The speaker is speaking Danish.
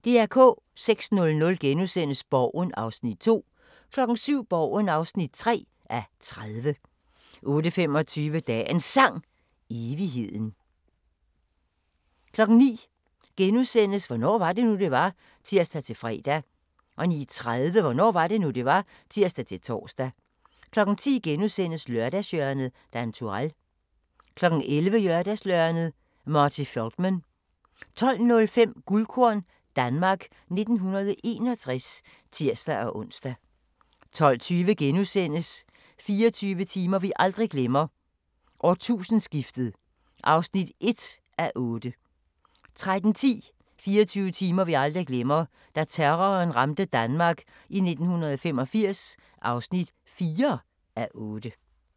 06:00: Borgen (2:30)* 07:00: Borgen (3:30) 08:25: Dagens Sang: Evigheden 09:00: Hvornår var det nu, det var? *(tir-fre) 09:30: Hvornår var det nu, det var? (tir-tor) 10:00: Lørdagshjørnet - Dan Turèll * 11:00: Lørdagshjørnet - Marty Feldman 12:05: Guldkorn - Danmark 1961 (tir-ons) 12:20: 24 timer vi aldrig glemmer: Årtusindeskiftet (1:8)* 13:10: 24 timer vi aldrig glemmer: Da terroren ramte Danmark i 1985 (4:8)